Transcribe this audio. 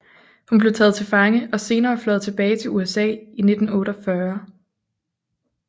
Hun blev taget til fange og senere fløjet tilbage til USA i 1948